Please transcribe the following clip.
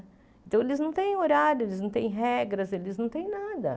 Então, eles não têm horário, eles não têm regras, eles não têm nada.